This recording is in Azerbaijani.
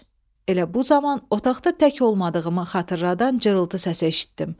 Elə bu zaman otaqda tək olmadığımı xatırladan cırıltı səsi eşitdim.